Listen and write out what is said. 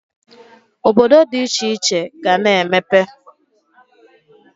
Obodo dị iche iche ga-ana emepe.